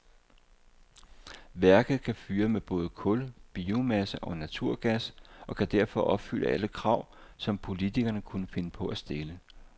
Værket kan fyre med både kul, biomasse og naturgas og kan derfor opfylde alle krav, som politikerne kunne finde på at stille.